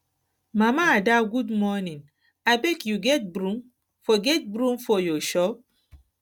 mama ada good morning abeg you get broom for get broom for your shop